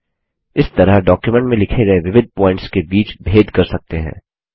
इस तरह डॉक्युमेंट में लिखे गये विविध प्वॉइंट्स के बीच भेद कर सकते हैं